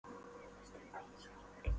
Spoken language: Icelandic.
Ég býst við því, svaraði Lóa.